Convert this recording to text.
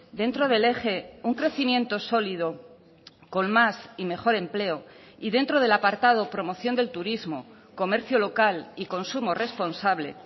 dentro del eje un crecimiento sólido con más y mejor empleo y dentro del apartado promoción del turismo comercio local y consumo responsable